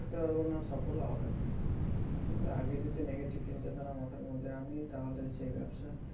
শুরু করতে পারবো না সফল ও হবে না আগে যদি negative চিন্তাধারা মাথার মধ্যে আনি তাহলে সেই ব্যবসা